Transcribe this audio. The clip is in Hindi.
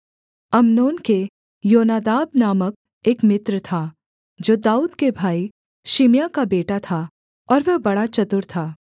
अम्नोन के योनादाब नामक एक मित्र था जो दाऊद के भाई शिमआह का बेटा था और वह बड़ा चतुर था